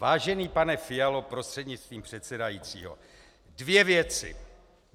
Vážený pane Fialo prostřednictvím předsedajícího, dvě věci.